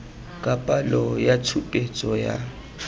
ka palo ya tshupetso ya